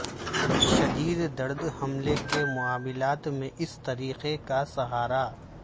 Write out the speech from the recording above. شدید درد حملے کے معاملات میں اس طریقے کا سہارا